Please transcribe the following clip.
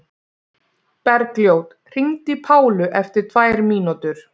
Bergljót, hringdu í Pálu eftir tvær mínútur.